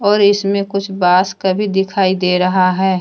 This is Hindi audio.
और इसमें कुछ बांस का भी दिखाई दे रहा है।